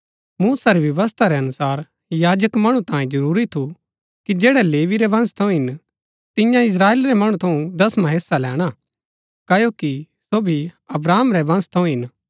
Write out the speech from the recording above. मूसा री व्यवस्था रै अनुसार याजक मणु तांये जरूरी थू कि जैड़ै लेवी रै वंश थऊँ हिन तिन्या इस्त्राएल रै मणु थऊँ दसवां हेस्सा लैणा क्ओकि सो भी अब्राहम रै वंश थऊँ हिन